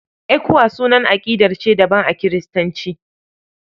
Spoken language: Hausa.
ECWA sunan aƙidar ce daban a Kiristanci.